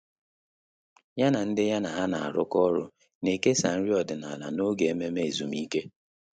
Yá na ndị ya na há nà-árụ́kọ́ ọ́rụ́ nà-èkèsá nrí ọ́dị́nála n’ógè ememe ezumike.